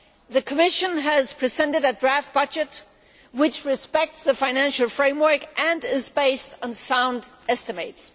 The Commission has presented a draft budget which respects the financial framework and is based on sound estimates.